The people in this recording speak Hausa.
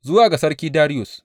Zuwa ga Sarki Dariyus.